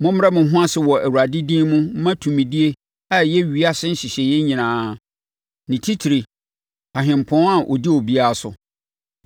Mommrɛ mo ho ase wɔ Awurade din mu mma tumidie a ɛyɛ ewiase nhyehyɛeɛ nyinaa: Ni titire Ɔhempɔn a ɔdi obiara so.